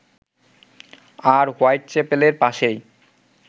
আর white চ্যাপেলের পাশেই